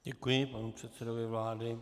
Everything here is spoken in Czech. Děkuji panu předsedovi vlády.